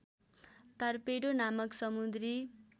torpedo नामक समुद्री